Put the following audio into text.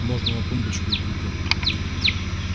можно на тумбочке у плиты